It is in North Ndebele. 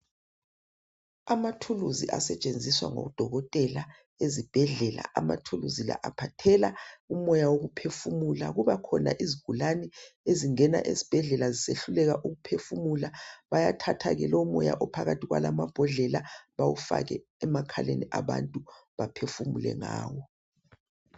Amathulusi asetshenziswa ngodokotela ezibhedlela amathulusi la aphathela umoya wokuphefumula kuba khona izigulane ezingena esibhedlela zisehluleka ukuphefumula bayathatha ke lo moya ophakathi kwalamabhodlela bawufake emakhaleni abantu baphefumule ngawo.